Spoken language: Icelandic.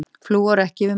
Flúor ekki yfir mörkum